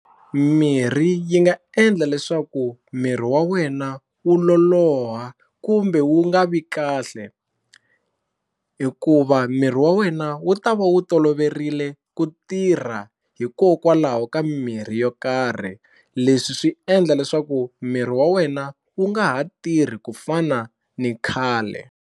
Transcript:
Mirhi yi nga endla leswaku miri wa wena wu loloha kumbe wu nga vi kahle hikuva miri wa wena wu ta va wu toloverile ku tirha hikokwalaho ka mimirhi yo karhi leswi swi endla leswaku miri wa wena wu nga ha tirhi ku fana ni khale.